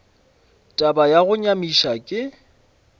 taba ya go nyamiša ke